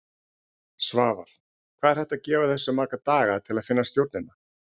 Svavar: Hvað er hægt að gefa þessu marga daga til að finna stjórnina?